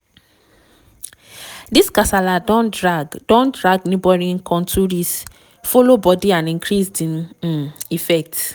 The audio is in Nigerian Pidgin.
dis kasala don drag don drag neighbouring kontris follow bodi and increase di um effects.